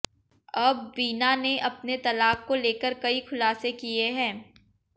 अब वीना ने अपने तलाक को लेकर कई खुलासे किए हैं